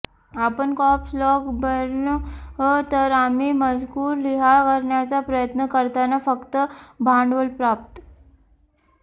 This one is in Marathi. आपण कॅप्स लॉक बर्न तर आम्ही मजकूर लिहा करण्याचा प्रयत्न करताना फक्त भांडवल प्राप्त